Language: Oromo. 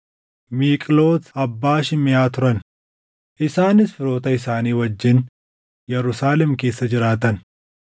Miiqlooti abbaa Shimeʼaa turan; isaanis firoota isaanii wajjin Yerusaalem keessa jiraatan.